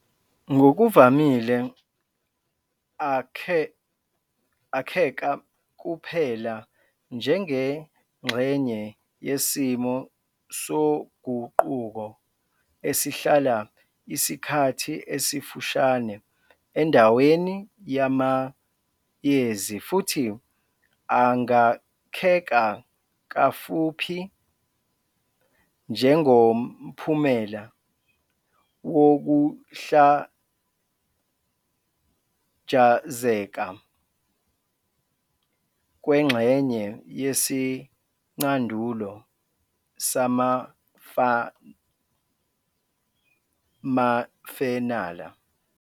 Ngokuvamile akheka kuphela njengengxenye yesimo soguquko esihlala isikhathi esifushane endaweni yamayezi futhi angakheka kafuphi njengomphumela wokuhlajazeka kwengxenye yesicandulo samafenala.